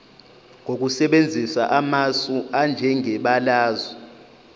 ngokusebenzisa amasu anjengebalazwe